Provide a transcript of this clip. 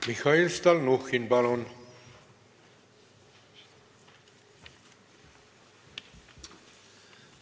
Mihhail Stalnuhhin, palun!